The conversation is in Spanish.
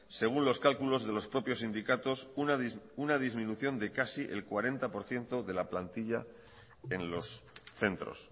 según los cálculos de los propios sindicatos una disminución de casi el cuarenta por ciento de la plantilla en los centros